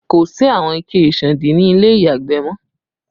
Kò sí àwọn ike ìsándí ni ilé ìyàgbẹ̀ mọ